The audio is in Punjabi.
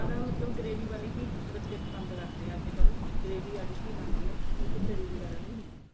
ਮਤਲਬ gravy ਵਾਲੀ ਹੀ ਬੱਚੇ ਪਸੰਦ ਕਰਦੇ ਏ ਅੱਜਕਲ gravy ਵਾਲੀ ਹੀ ਬਣਦੀ ਏ ਇਸ ਚ ਤਰੀ ਵਗੈਰਾ ਨੀਂ ਹੁੰਦੀ